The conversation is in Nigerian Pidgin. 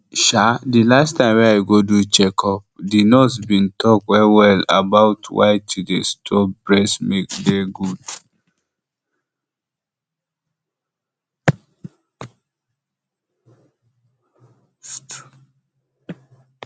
ehm the last time wey i go do checkuplike the nurse been talk wellwell about why to dey store breast milk dey good